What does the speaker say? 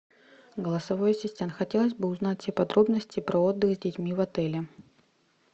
голосовой ассистент хотелось бы узнать все подробности про отдых с детьми в отеле